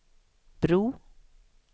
bro